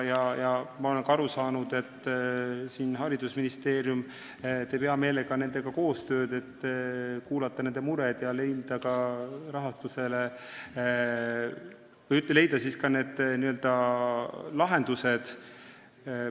Ma olen ka aru saanud, et haridusministeerium teeb hea meelega nendega koostööd, kuulab nende muresid ja proovib leida lahendusi rahastuse jaoks.